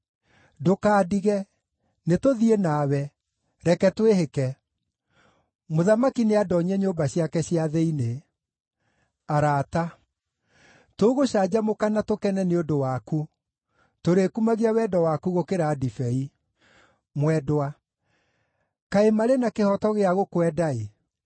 Ndũkandige, nĩtũthiĩ nawe; reke twĩhĩke! Mũthamaki nĩandoonyie nyũmba ciake cia thĩinĩ. Arata Tũgũcanjamũka na tũkene nĩ ũndũ waku; tũrĩkumagia wendo waku gũkĩra ndibei. Mwendwa Kaĩ marĩ na kĩhooto gĩa gũkwenda-ĩ!